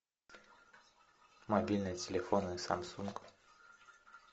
мобильные телефоны самсунг